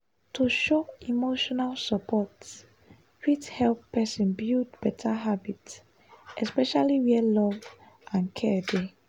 to show emotional support fit help person build better habit especially where love and care dey.